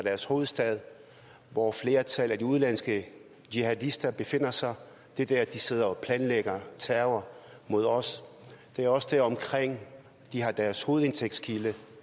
deres hovedstad hvor flertallet af de udenlandske jihadister befinder sig det er der de sidder og planlægger terror mod os det er også deromkring de har deres hovedindtægtskilde